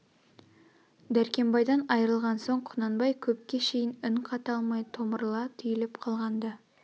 дәркембайдан айрылған соң құнанбай көпке шейін үн қата алмай томырыла түйліп қалған-ды